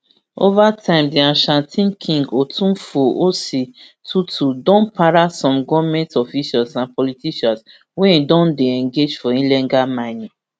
ova time di ashanti king otumfuo osei tutu ii don para some goment officials and politicians wey don dey engage for illegal mining